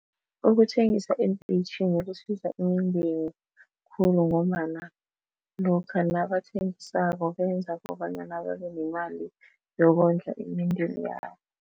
Ukuthengisa eenteyitjhini kusiza imindeni khulu ngombana lokha nabathengisako benza kobanyana babenemali yokondla imindeni yabo.